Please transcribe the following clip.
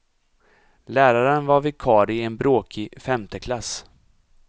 Läraren var vikarie i en bråkig femteklass.